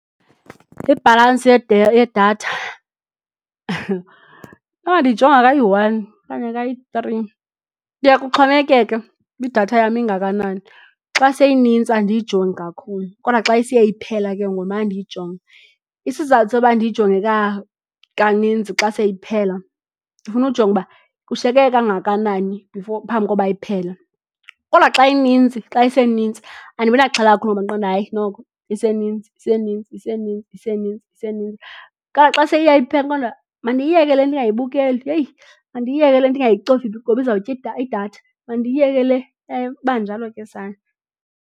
Ibhalansi yedatha inoba ndiyijonga kayi-one okanye kayi-three kuye kuxhomekeke uba idatha yam ingakanani. Xa seyinintsi andiyijongi kakhulu kodwa xa isiye iphela ke ngoku ndimana ndiyijonga. Isizathu soba ndiyijonge kaninzi xa seyiphela ndifuna ujonga uba kushiyeke kangakanani before phambi kokuba iphele. Kodwa xa inintsi xa isenintsi andibi naxhala kakhulu ngoba ndiqonde uba hayi noko isenintsi, isenintsi, isenintsi, isenintsi, isenintsi. Kodwa xa seyiya iphela ndiqonda mandiyiyeke le ndingayibukeli yeyi mandiyiyeke le ndingayicofi ngokuba iza kutya idatha mandiyeke le, iba njalo ke sana.